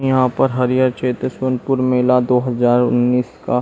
यहां पहाड़ियां क्षेत्र सोनपुर मेला दो हज़ार उन्नीस का --